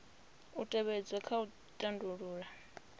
u tevhedzwa kha u tandulula